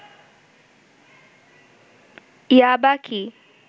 ইয়াবা কি